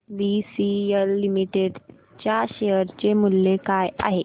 आज BCL limited च्या share चे मूल्य काय आहे